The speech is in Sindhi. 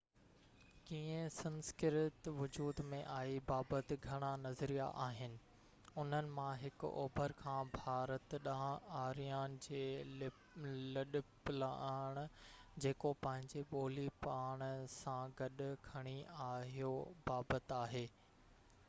ڪيئن سنسڪرت وجود ۾ آئي بابت گهڻا نظريا آهن انهن مان هڪ اوڀر کان ڀارت ڏانهن آريان جي لڏپلاڻ جيڪو پنهنجي ٻولي پاڻ سان گڏ کڻي آهيو بابت آهي